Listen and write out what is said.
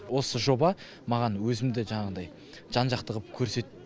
осы жоба маған өзімді жаңағыдай жан жақты ғып көрсет